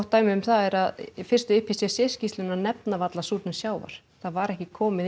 dæmi um það er að fyrstu IPCC skýrslunnar nefna varla súrnun sjávar það var ekki komið